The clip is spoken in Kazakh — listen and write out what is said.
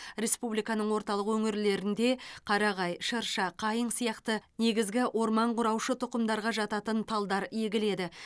республиканың орталық өңірлерінде қарағай шырша қайың сияқты негізгі орман құраушы тұқымдарға жататын талдар егіледі